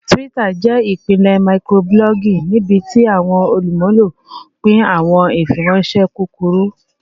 Twitter jẹ ipilẹ microblogging nibiti awọn olumulo pin awọn ifiranṣẹ kukuru